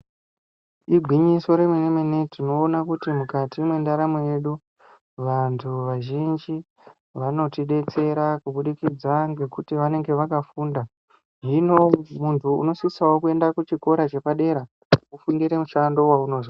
Igwinyiso remene mene tinoona kuti mukati mwendaramo yedu vantu vazhinji vanotidetsera kubudikidza ngekuti vanenge vakafunda hino muntu unosisawo kuenda kuchikora chepadera wofundire mushando waunozo.